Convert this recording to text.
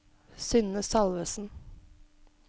Synne Salvesen